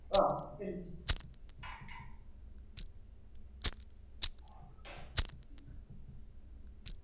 ഓഹ്